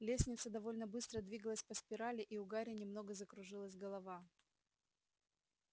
лестница довольно быстро двигалась по спирали и у гарри немного закружилась голова